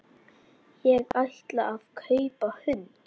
Ég ætlaði að kaupa hund.